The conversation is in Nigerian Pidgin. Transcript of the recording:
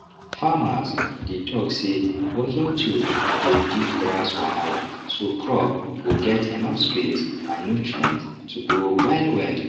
farmers dey talk say working tools dey reduce grass wahala so crop go get enough space and nutrients to grow wellwell